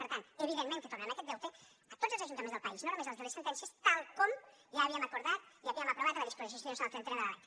per tant evidentment que tornarem aquest deute a tots els ajuntaments del país no només als de les sentències tal com ja havíem acordat i havíem aprovat a la disposició addicional trentena de la lec